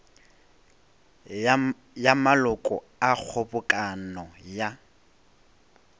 ya maloko a kgobokano ya